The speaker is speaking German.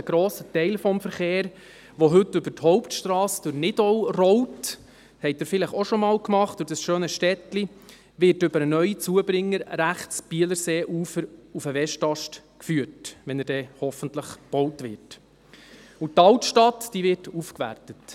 Ein grosser Teil des Verkehrs, der heute über die Hauptstrasse durch das schöne Städtlein Nidau rollt, wird über den neuen Zubringer rechtes Bielerseeufer auf den Westast geführt, wenn er denn hoffentlich gebaut wird, und die Altstadt wird aufgewertet.